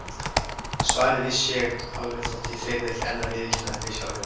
Svarið vissi ég alveg þótt ég þyrði ekki enn að viðurkenna það fyrir sjálfri mér.